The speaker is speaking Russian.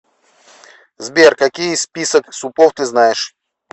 сбер какие список супов ты знаешь